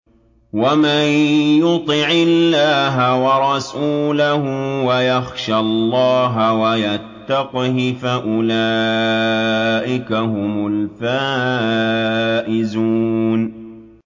وَمَن يُطِعِ اللَّهَ وَرَسُولَهُ وَيَخْشَ اللَّهَ وَيَتَّقْهِ فَأُولَٰئِكَ هُمُ الْفَائِزُونَ